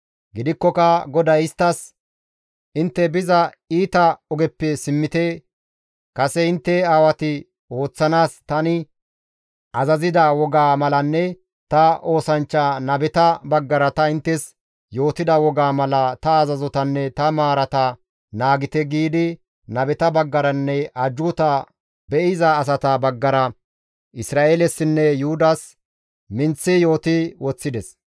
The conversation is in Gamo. Gidikkoka GODAY isttas, «Intte biza iita ogeppe simmite! Kase intte aawati ooththanaas tani azazida wogaa malanne ta oosanchcha nabeta baggara ta inttes yootida wogaa mala ta azazotanne ta maarata naagite» giidi nabeta baggaranne ajjuuta be7iza asata baggara Isra7eelesinne Yuhudas minththi yooti woththides.